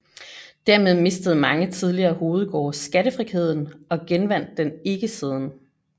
Dermed mistede mange tidligere hovedgårde skattefriheden og genvandt den ikke siden